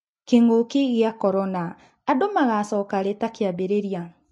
Kĩng'ũki gĩa Korona: Andũ magocoka-rĩ takĩambirĩria.